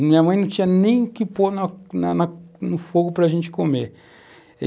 Minha mãe não tinha nem o que pôr no na no fogo para a gente comer.